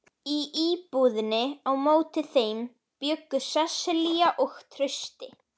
Í íbúðinni á móti þeim bjuggu Sesselía og Trausti.